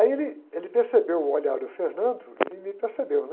Aí ele, ele percebeu o olhar do e me percebeu, né?